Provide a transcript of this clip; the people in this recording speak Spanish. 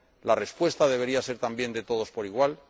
la respuesta debería ser también de todos por igual?